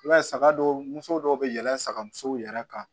I b'a ye saga dɔw musow dɔw bɛ yɛlɛn saga musow yɛrɛ kan